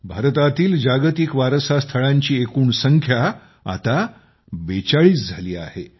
भारतातील जागतिक वारसा स्थळांची एकूण संख्या आता 42 झाली आहे